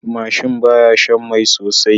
Mashin baya Shan Mai sosai